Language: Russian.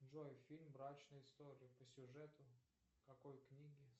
джой фильм брачные истории по сюжету какой книги